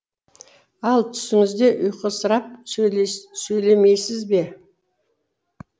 ал түсіңізде ұйқысырап сөйлемейсіз бе